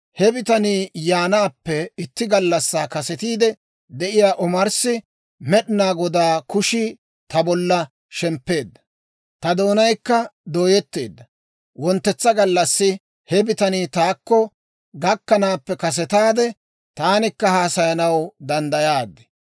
He bitanii yaanaappe itti gallassaa kasetiide de'iyaa omarssi Med'inaa Godaa kushii ta bollan shemppeedda; ta doonaykka dooyetteedda; wonttetsa gallassi he bitanii taakko gakkanaappe kasetaade, taanikka haasayaanaw danddayaad.